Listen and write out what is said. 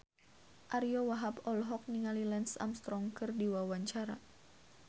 Ariyo Wahab olohok ningali Lance Armstrong keur diwawancara